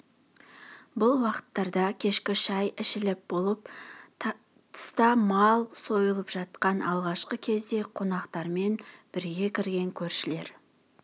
бұл уақыттарда кешкі шай ішіліп болып тыста мал сойылып жатқан алғашқы кезде қонақтармен бірге кірген көршілер